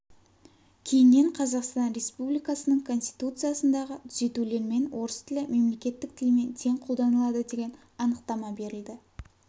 кейіннен қазақстан республикасының конституциясындағы түзетулермен орыс тілі мемлекеттік тілмен тең қолданылады деген анықтама берілді